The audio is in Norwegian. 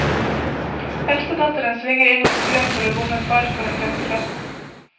Eldstedatteren svinger innom stuen for å bomme far for en femtilapp.